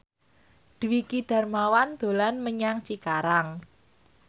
Dwiki Darmawan dolan menyang Cikarang